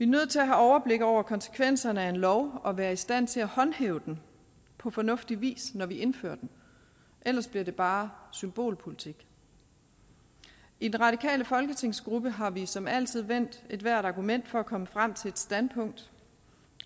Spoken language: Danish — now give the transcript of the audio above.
nødt til at have overblik over konsekvenserne af en lov og være i stand til at håndhæve den på fornuftig vis når vi indfører den ellers bliver det bare symbolpolitik i den radikale folketingsgruppe har vi som altid vendt ethvert argument for at komme frem til et standpunkt